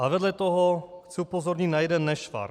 A vedle toho chci upozornit na jeden nešvar.